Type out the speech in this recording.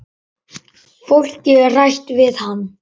Fólkið er hrætt við hann.